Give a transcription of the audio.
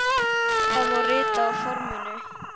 Það má rita á forminu